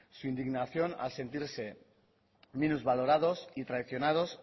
su indignación al sentirse minusvalorados y traicionados